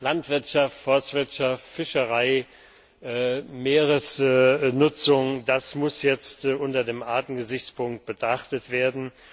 Landwirtschaft, Forstwirtschaft, Fischerei, Meeresnutzung das muss jetzt unter dem Artengesichtspunkt betrachtet werden.